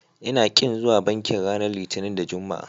Ina ƙin zuwa banki ranar Litinin da Juma'a.